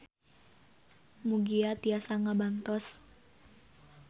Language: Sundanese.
Mugia tiasa ngabantos.